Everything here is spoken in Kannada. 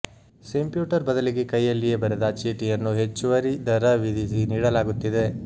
ಸಿಂಪ್ಯೂಟರ್ ಬದಲಿಗೆ ಕೈಯಲ್ಲಿಯೇ ಬರೆದ ಚೀಟಿಯನ್ನು ಹೆಚ್ಚುವರಿ ದರ ವಿಧಿಸಿ ನೀಡಲಾಗುತ್ತಿದೆ